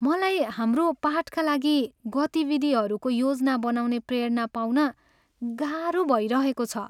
मलाई हाम्रो पाठका लागि गतिविधिहरूको योजना बनाउने प्रेरणा पाउन गाह्रो भइरहेको छ।